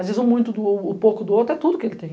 Às vezes, o muito do o, o pouco do outro é tudo que ele tem.